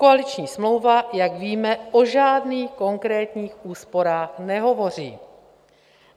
Koaliční smlouva, jak víme, o žádných konkrétních úsporách nehovoří.